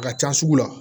A ka ca sugu la